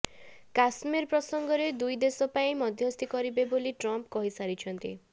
କଶ୍ମୀର ପ୍ରସଙ୍ଗରେ ଦୁଇ ଦେଶ ପାଇଁ ମଧ୍ୟସ୍ଥି କରିବେ ବୋଲି ଟ୍ରମ୍ପ କହିସାରିଛନ୍ତି